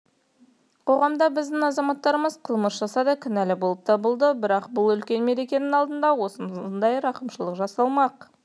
қоғамда біздің азаматтарымыз қылмыс жасады кінәлі болып танылды бірақ үлкен мерекенің алдында осындай рақымшылық жасалмақ